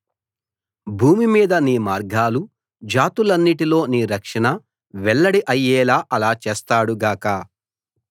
భూమి మీద నీ మార్గాలు జాతులన్నిటిలో నీ రక్షణ వెల్లడి అయ్యేలా అలా చేస్తాడు గాక